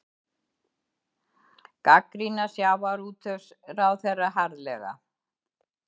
Gagnrýna sjávarútvegsráðherra harðlega